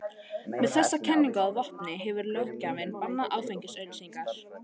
Með þessa kenningu að vopni hefur löggjafinn bannað áfengisauglýsingar.